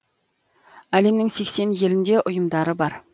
әлемнің сексен елінде ұйымдары бар